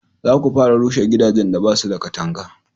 za ku fara rushe gidajen da basu da katanga!